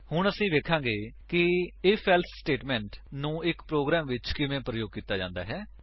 ਹੁਣ ਅਸੀ ਵੇਖਾਂਗੇ ਕਿ Ifelse ਸਟੇਟਮੇਂਟ160 ਨੂੰ ਇੱਕ ਪ੍ਰੋਗਰਾਮ ਵਿੱਚ ਕਿਵੇਂ ਪ੍ਰਯੋਗ ਕੀਤਾ ਜਾਂਦਾ ਹੈ